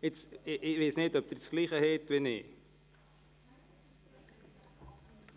Ich weiss nicht, ob Sie denselben Abänderungsantrag vor